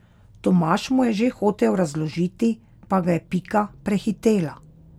Tomaž mu je že hotel razložiti, pa ga je Pika prehitela.